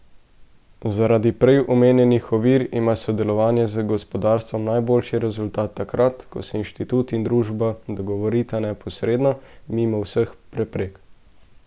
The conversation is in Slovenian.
Zaradi prej omenjenih ovir ima sodelovanje z gospodarstvom najboljši rezultat takrat, ko se inštitut in družba dogovorita neposredno, mimo vseh preprek.